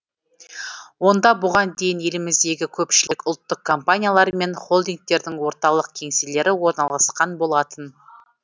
онда бұған дейін еліміздегі көпшілік ұлттық компаниялар мен холдингтердің орталық кеңселері орналасқан болатын